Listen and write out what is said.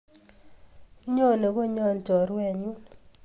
Nyone konyon chorwet nyu